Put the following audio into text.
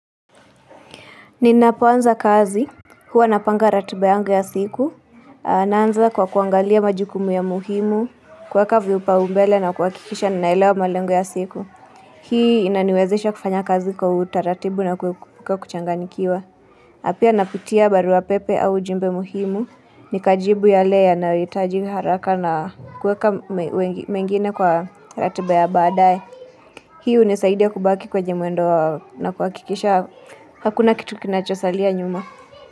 Ninapoanza kazi, huwa napanga ratiba yangu ya siku, naanza kwa kuangalia majukumu ya muhimu, kuweka viupaumbele na kuhakikisha ninaelewa malengo ya siku. Hii inaniwezesha kufanya kazi kwa utaratibu na kuchanganikiwa. Na pia ninapitia barua pepe au jumbe muhimu, nikajibu yale yanayoitaji haraka na kuweka mengine kwa ratiba ya badae Hii hunisaidia kubaki kwenye mwendo na kuakikisha hakuna kitu kinachosalia nyuma.